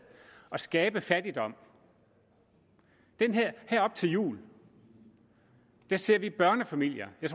at skabe fattigdom her op til jul ser vi børnefamilier jeg